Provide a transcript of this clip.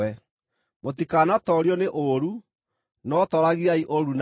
Mũtikanatoorio nĩ ũũru, no tooragiai ũũru na wega.